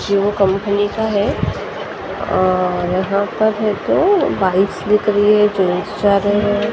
Hero company का है और यहां पर हमको बाइक्स दिख रही है है।